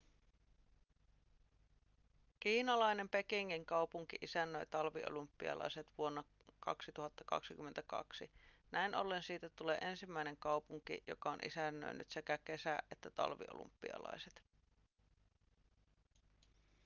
kiinalainen pekingin kaupunki isännöi talviolympialaiset vuonna 2022 näin ollen siitä tulee ensimmäinen kaupunki joka on isännöinyt sekä kesä- että talviolympialaiset